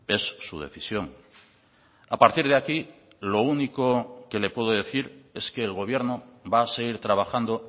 es su decisión a partir de aquí lo único que le puedo decir es que el gobierno va a seguir trabajando